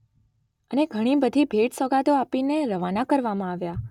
અને ઘણી બધી ભેટ - સોગાદો આપીને રવાના કરવામાં આવ્યા.